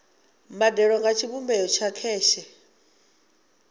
mbadelo nga tshivhumbeo tsha kheshe